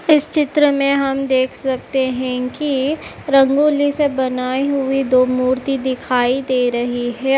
इस चित्र में हम देख सकते हैं कि रंगोली से बनाई हुई दो मूर्ति दिखाई दे रही हे --